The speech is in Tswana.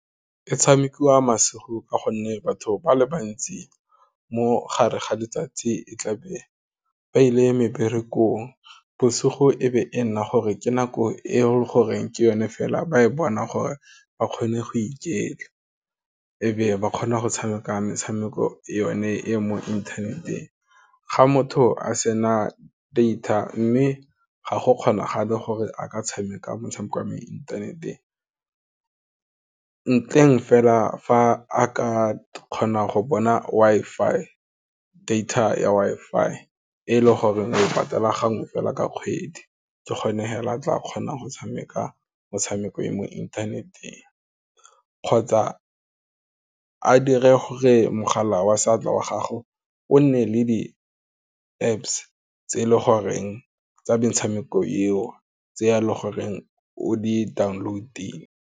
E tshamekiwa masigo ka gonne batho ba le bantsi mogare ga letsatsi e tla be ba ile meberekong, bosigo e be e nna gore ke nako e leng gore ke yone fela ba e bona gore ba kgone go iketla, e be ba kgona go tshameka metshameko yone e mo interneteng, ga motho a sena data mme ga go kgonagale gore a ka tshameka motshameko wa mo interneteng ntleng fela fa a ka kgonang go bona Wi-Fi, data ya Wi-Fi e leng goreng o patala gangwe fela ka kgwedi, ke kgona fela tla kgonang go tshameka metshameko ya mo inthaneteng kgotsa a dire gore mogala wa seatla wa gago o nne le di Apps tse e leng goreng tsa metshameko eo tse ya le goreng o di-download.